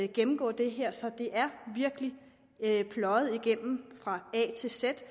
gennemgå det her så det er virkelig pløjet igennem fra a til z